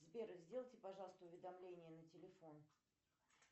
сбер сделайте пожалуйста уведомления на телефон